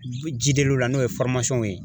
la n'o ye ye.